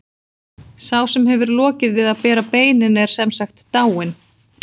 Sá sem hefur lokið við að bera beinin er sem sagt dáinn.